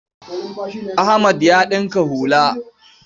Ahmad ya ɗinka hula.